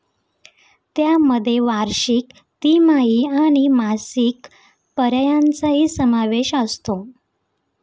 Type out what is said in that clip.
त्यामध्ये वार्षिक, तिमाही आणि मासिक पर्यायांचाही समावेश असतो.